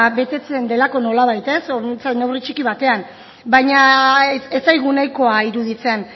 betetzen delako nolabait behintzat neurri txiki batean baina ez zaigu nahikoa iruditzen